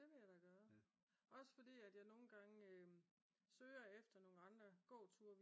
Det vil jeg da gøre også fordi at jeg nogen gange søger efter nogle andre gåture